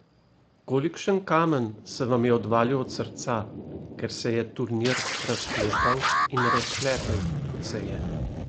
Kolikšen kamen se vam je odvalil od srca, ker se je turnir razpletal in razpletel, kot se je?